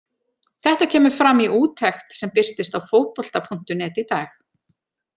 Þetta kemur fram í úttekt sem birtist á Fótbolta.net í dag.